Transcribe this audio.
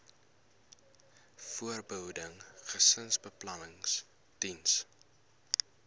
voorbehoeding gesinsbeplanning diens